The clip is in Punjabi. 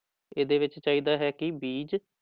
ਇਹਦੇ ਵਿੱਚ ਚਾਹੀਦਾ ਹੈ ਕਿ ਬੀਜ